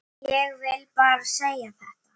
Ég vil bara segja þetta.